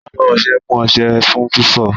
Abọ ọṣẹ mú ọṣẹ fún fífọ̀.